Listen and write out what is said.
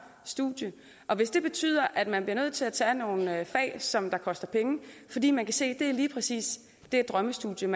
studie og hvis det betyder at man bliver nødt til at tage nogle fag som koster penge fordi man kan se at det lige præcis er drømmestudiet